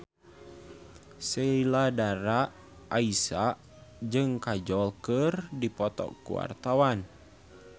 Sheila Dara Aisha jeung Kajol keur dipoto ku wartawan